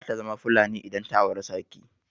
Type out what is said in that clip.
Zata zama Fulani idan ta auri sarki.